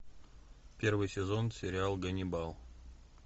первый сезон сериал ганнибал